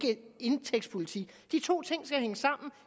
indtægtspolitik de to ting skal hænge sammen